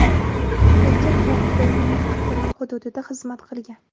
erkak Ukrainaning avtonom hududida xizmat qilgan.